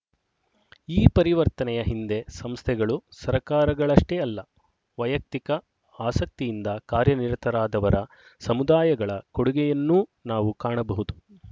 ಈ ಪರಿವರ್ತನೆಯ ಹಿಂದೆ ಸಂಸ್ಥೆಗಳು ಸರಕಾರಗಳಷ್ಟೇ ಅಲ್ಲ ವೈಯಕ್ತಿಕ ಆಸಕ್ತಿಯಿಂದ ಕಾರ್ಯ ನಿರತರಾದವರ ಸಮುದಾಯಗಳ ಕೊಡುಗೆಯನ್ನೂ ನಾವು ಕಾಣಬಹುದು